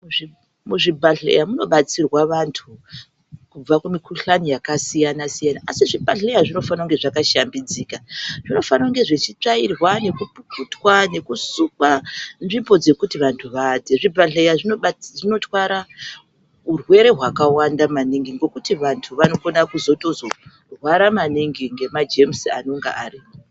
Muzvibhedhlera munobatsirwa antu kubva kumikhuhlani wyakasiyana siyana ,asi zvibhedhlera zvinofana kuva zvakashambidzika. Zvinenge zvichifanirwa kutsvairwa nekupukutwa nekusukwa Nzvimbo dzekuti vantu vaatire muzvibhedhlera dzinotwara urwere hwakawanda maningi zvokuti vantu vanokona kuzorwara maningi nemathaizezi anenge arimo.